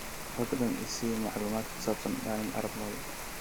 fadlan i sii macluumaad ku saabsan daniel arap moi